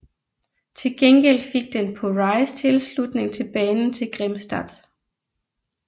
Til gengæld fik den på Rise tilslutning til banen til Grimstad